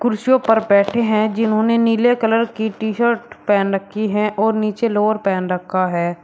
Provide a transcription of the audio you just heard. कुर्सियों पर बैठे हैं जिन्होंने नीले कलर की टी-शर्ट पहन रखी है और नीचे लोअर पहन रखा है।